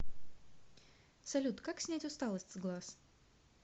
салют как снять усталость с глаз